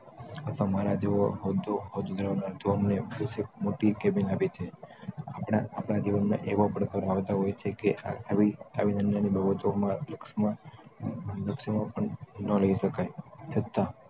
પણ મારા જેવો મોટી કેબીન આપી છે આપણા જીવન માં એવો પડતો જાણતા હોય છે કે આવી~આવી નાની નાની બાબતો માં ના રહી શકાય છતાં